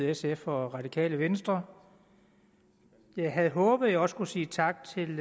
sf og radikale venstre jeg havde håbet at jeg også kunne sige tak til